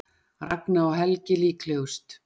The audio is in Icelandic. Ragna og Helgi líklegust